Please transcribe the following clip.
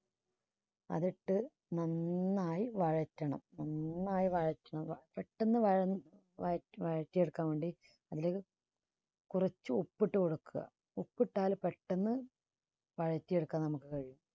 അതിട്ട് നന്നായി വയറ്റണം നന്നായി വയറ്റുക പെട്ടെന്ന് വയങ്ങും വയ~വയറ്റി എടുക്കാൻ വേണ്ടി അതിലേക്ക് കുറച്ച് ഉപ്പിട്ട് കൊടുക്കുക. ഉപ്പിട്ടാൽ പെട്ടെന്ന് വയറ്റി എടുക്കാൻ നമുക്ക് കഴിയും.